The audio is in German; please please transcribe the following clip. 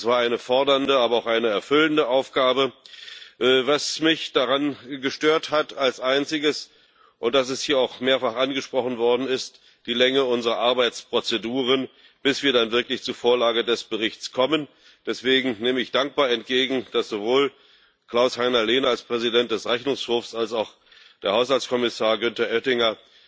Es war eine fordernde, aber auch eine erfüllende Aufgabe. Was mich als Einziges daran gestört hat, und das ist hier auch mehrfach angesprochen worden, ist die Länge unserer Arbeitsprozeduren, bis wir dann wirklich zur Vorlage des Berichts kommen. Deswegen nehme ich dankbar entgegen, dass sowohl Klaus-Heiner Lehne als Präsident des Rechnungshofs als auch der Haushaltskommissar Günther Oettinger